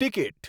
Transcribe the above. ticket